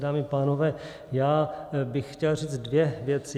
Dámy a pánové, já bych chtěl říct dvě věci.